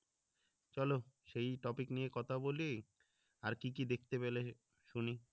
চলো সেই topic নিয়ে কথা বলি আর কি কি দেখতে পেলে শুনি